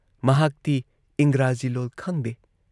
ꯃꯍꯥꯛꯇꯤ ꯏꯪꯒ꯭ꯔꯥꯖꯤ ꯂꯣꯜ ꯈꯪꯗꯦ